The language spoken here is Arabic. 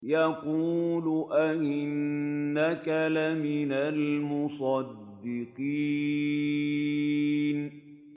يَقُولُ أَإِنَّكَ لَمِنَ الْمُصَدِّقِينَ